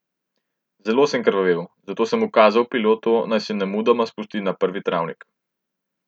Zelo sem krvavel, zato sem ukazal pilotu, naj se nemudoma spusti na prvi travnik.